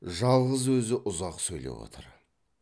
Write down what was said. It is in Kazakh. жалғыз өзі ұзақ сөйлеп отыр